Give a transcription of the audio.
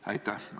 Aitäh!